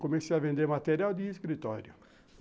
Comecei a vender material de escritório.